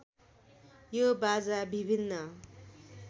यो बाजा विभिन्न